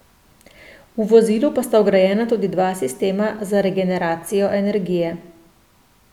V vozilu pa sta vgrajena tudi dva sistema za regeneracijo energije.